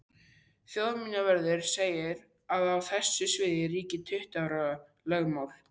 Þjóðminjavörður segir að á þessu sviði ríki tuttugu ára lögmál.